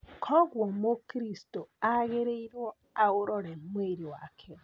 Koguo mũkristo agĩrĩirwo aũrore mwĩrĩ wake.